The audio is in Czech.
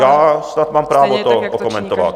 Já snad mám právo to okomentovat.